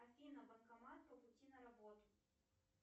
афина банкомат по пути на работу